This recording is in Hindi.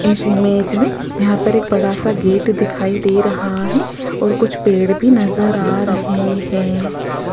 इस इमेज में यहां पर एक बड़ा सा गेट दिखाई दे रहा है और कुछ पेड़ भी नजर आ रहे हैं।